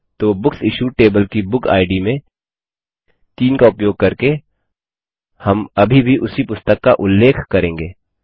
तो books issued table की book ID में 3 का उपयोग करके हम अभी भी उसी पुस्तक का उल्लेख करेंगे